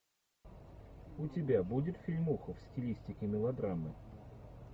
у тебя будет фильмуха в стилистике мелодрамы